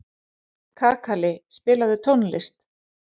Kakali, spilaðu tónlist.